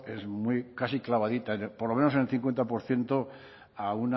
es muy casi clavadita por lo menos en el cincuenta por ciento a